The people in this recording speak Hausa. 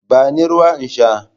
Bani ruwa in sha.